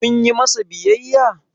kun yi masa biyayya?